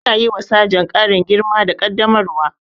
Ana yi wa sajan ƙarin girma da ƙaddamarwa